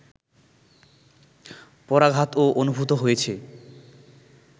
পরাঘাতও অনুভূত হয়েছে